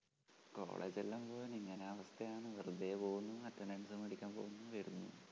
കോളേജെല്ലാം പോവാൻ ഇങ്ങനെ അവസ്ഥ യാണ് വെറുതേ പോവുന്നു attendance മേടിക്കാൻ പോവുന്നു വരുന്നു.